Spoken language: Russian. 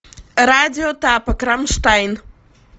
радио тапок рамштайн